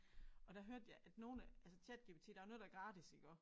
Og der hørte jeg at nogle altså ChatGPT der er jo noget der er gratis iggå